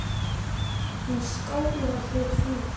Hún skálaði fyrir því.